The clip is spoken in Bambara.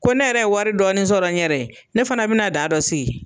Ko ne yɛrɛ ye wari dɔɔni sɔrɔ n yɛrɛ ye, ne fana be na da dɔ sigi.